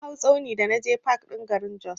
Na hau tsauni da naje fak ɗin garin Jos.